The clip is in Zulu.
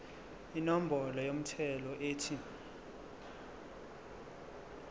inombolo yomthelo ethi